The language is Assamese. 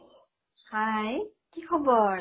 hi কি খবৰ?